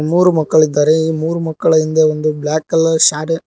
ಮೂರು ಮಕ್ಕಳಿದ್ದಾರೆ ಈ ಮೂರು ಮಕ್ಕಳ ಹಿಂದೆ ಒಂದು ಬ್ಲಾಕ್ ಕಲರ್ ಶಾಡೆ--